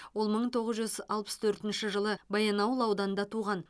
ол мың тоғыз жүз алпыс төртінші жылы баянауыл ауданында туған